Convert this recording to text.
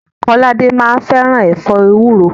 Kọ́ládé máa ń fẹ́ràn ẹ̀fọ́ ewúro.